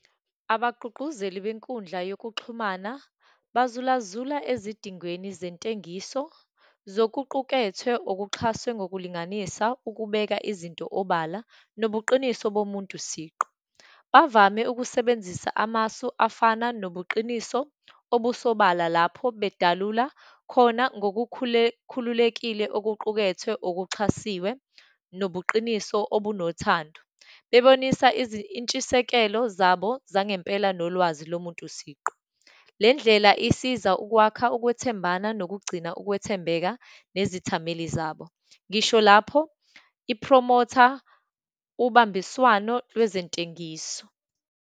Abagqugquzeli benkundla yokuxhumana bazulazula ezidingweni zentengiso zokuqukethwe, okuxhaswe ngokulinganisa ukubeka izinto obala, nobuqiniso bomuntu siqu. Bavame ukusebenzisa amasu afana nobuqiniso obusobala lapho bedalula khona khululekile okuqukethwe okuxhasiwe, nobuqiniso obunothando, bebonisa intshisekelo zabo zangempela nolwazi lo muntu siqu. Le ndlela isiza ukwakha ukwethembana nokugcina ukwethembeka nezithameli zabo. Ngisho lapho iphromotha ubambiswano lwezentengiso.